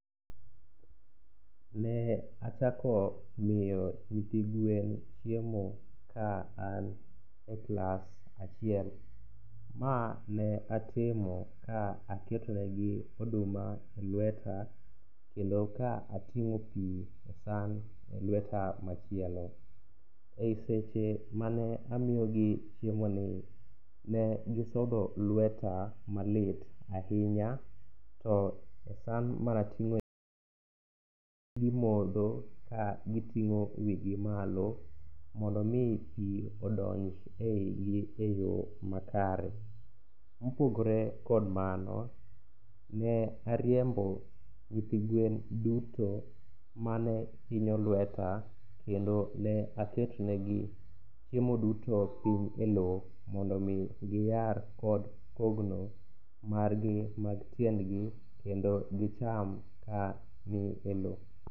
Ne achako miyo nyithi gwen chiemo ka an e klas achiel, ma ne atimo ka aketo negi oduma e lweta kendo ka ating'o pi e san e lweta machielo. E seche mane amiyogi chiemoni, ne gisodho lweta malit ahinya to e san manating'o gimodho ka giting'o wigi malo, mondo omi pi odonj e wigi e yo makare. Mopogore kod mano, ne ariembo nyithi gwen duto mane hinyo lweta kendo ne aketonegi chiemo duto e lowo mondo omi giyar kod kogno margi mag tiendgi kendo gicham ka ni e lowo.